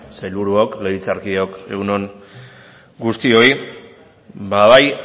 sailburuok legebiltzarkideok egun on guztioi bai